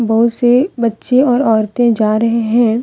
बहुत से बच्चे और औरतें जा रहे हैं।